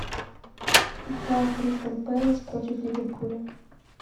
игра кристал пэлас против ливерпуля